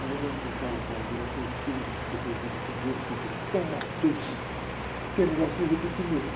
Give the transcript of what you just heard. Aí a mamãe me disse, olha, melhor você repetir um ano, porque você fez um primeiro sentido tão mal feito, que é melhor você repetir mesmo.